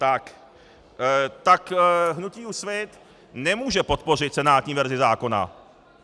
Tak hnutí Úsvit nemůže podpořit senátní verzi zákona.